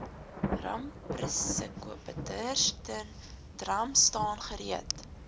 ramprisikobestuursentrum staan gereed